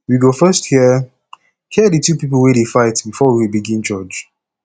we go first hear hear di two people wey dey fight before we begin judge